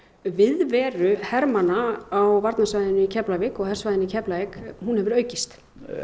viðveru hermanna á varnarsvæðinu í Keflavík og hersvæðinu í Keflavík hún hefur aukist